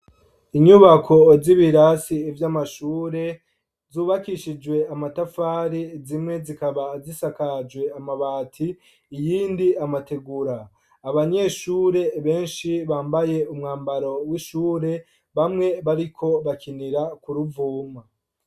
Inyubako z'ibirasi vy'amashure zubakishijwe amatafari, zimwe zikaba zisakajwe amabati, iyindi amategura. Abanyeshure benshi bambaye umwambaro w'ishure, bamwe bariko bakinira k'uruvuma.